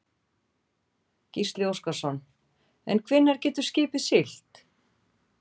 Gísli Óskarsson: En hvenær getur skipið siglt?